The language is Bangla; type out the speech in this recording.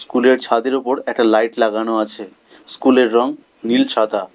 কুলের ছাদের উপর একটা লাইট লাগানো আছে স্কুলের রং নীল সাদা।